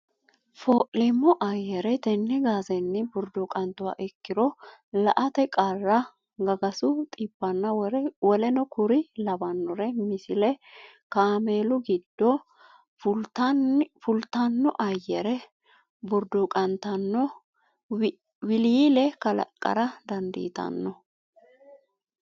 Foolleemmo ayyare tenne gaazenni burquuqantuha ikkiro la ate qarra gagasu dhibbanna w k l Misile Kaameelu giddonni fulatenni ayyare burquuqqanno wiliile kalaqqara dandiitanno.